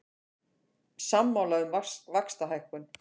Sammála um vaxtalækkun